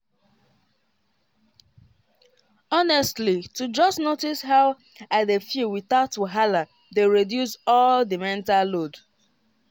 honestly to just notice how i dey feel without wahala dey reduce all the mental load.